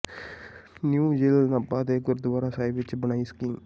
new jail Nabha ਦੇ ਗੁਰਦੁਆਰਾ ਸਾਹਿਬ ਵਿੱਚ ਬਣਾਈ ਸਕੀਮ